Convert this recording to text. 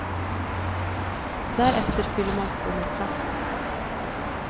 Därefter fyller man på med plast.